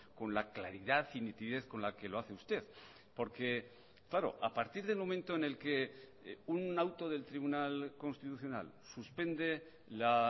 con la claridad y nitidez con la que lo hace usted porque claro a partir del momento en el que un auto del tribunal constitucional suspende la